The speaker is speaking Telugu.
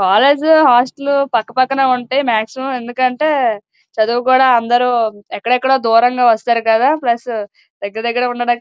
కాలేజీ హాస్టల్ పక్కపక్కనే ఉంటాయి మాక్సిమం . ఎందుకంటే చదువుకోడానికి చదువు కూడా అందరూ ఎక్కడెక్కడో దూరంగా వచ్చేసారు కదా--